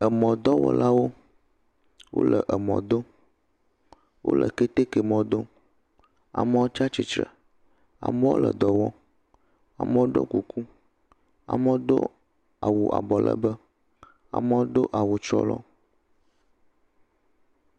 emɔ dɔwɔlawo wóle emɔ dom wóle kɛtɛkɛ mɔ dom amoɔ tsatsitle amoɔ le dɔwɔm amoɔ ɖɔ kuku amoɔ dó awu abɔ legbe amoɔ dó awu tsrɔlɔ